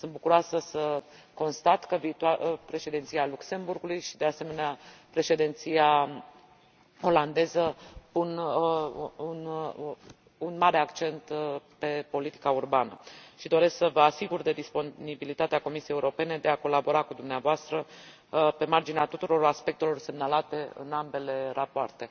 Sunt bucuroasă să constat că președinția Luxemburgului și, de asemenea, președinția olandeză pun un mare accent pe politica urbană și doresc să vă asigur de disponibilitatea Comisiei Europene de a colabora cu dumneavoastră pe marginea tuturor aspectelor semnalate în ambele rapoarte.